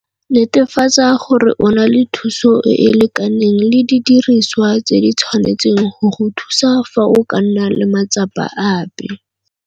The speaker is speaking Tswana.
Netefatsa gore o na le thuso e e lekaneng le didiriswa tse di tshwanetseng go go thusa fa go ka nna le matsapa ape.